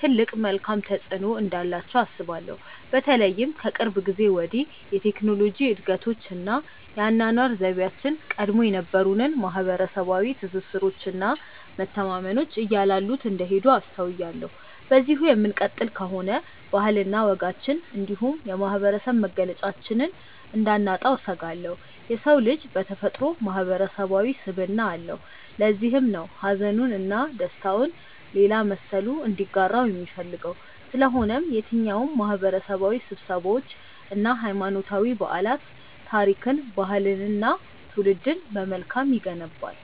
ትልቅ መልካም ተፆዕኖ እንዳላቸው አስባለሁ። በተለይም ከቅርብ ጊዜ ወዲህ የቴክኖሎጂ እድገቶች እና የአኗኗር ዘይቤያችን ቀድሞ የነበሩንን ማህበረሰባዊ ትስስሮች እና መተማመኖች እያላሉት እንደሄዱ አስተውያለሁ። በዚሁ የምንቀጥል ከሆነ ባህልና ወጋችንን እንዲሁም የማህበረሰብ መገለጫችንን እንዳናጣው እሰጋለሁ። የሰው ልጅ በተፈጥሮው ማህበረሰባዊ ስብዕና አለው። ለዚህም ነው ሀዘኑን እና ደስታውን ሌላ መሰሉ እንዲጋራው የሚፈልገው። ስለሆነም የትኛውም ማህበረሰባዊ ስብሰባዎች እና ሀይማኖታዊ በዓላት ታሪክን፣ ባህልንን እና ትውልድን በመልካም ይገነባል።